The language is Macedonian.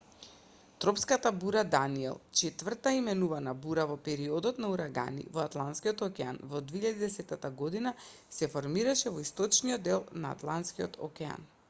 тропската бура даниел четврта именувана бура во периодот на урагани во атлантскиот океан во 2010 година се формираше во источниот дел на атлантскиот океан